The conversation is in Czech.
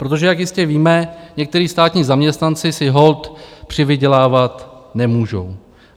Protože jak jistě víme, někteří státní zaměstnanci si holt přivydělávat nemůžou.